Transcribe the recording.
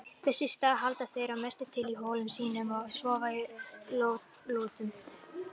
Þess í stað halda þeir að mestu til í holum sínum og sofa í lotum.